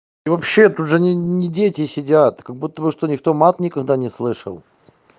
и вообще тут уже не не дети сидят как будто бы что никто мат никогда не слышал